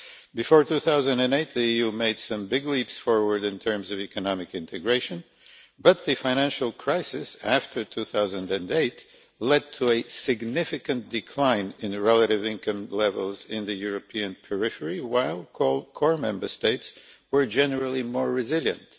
Before 2008, the EU made some big leaps forward in terms of economic integration, but the financial crisis after 2008 led to a significant decline in relative income levels in the European periphery, while core Member States were generally more resilient.